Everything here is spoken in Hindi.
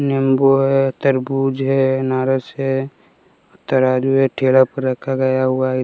नींबू है तरबूज है नारस है तराजू है ठेला पे रखा गया हुआ है।